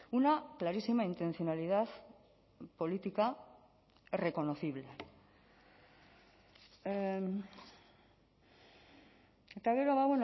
una clarísima intencionalidad política reconocible eta gero ba